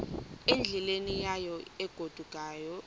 endleleni yayo egodukayo